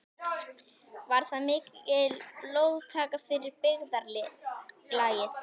Var það mikil blóðtaka fyrir byggðarlagið.